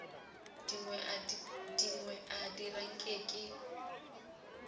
dingwe a dira nke ke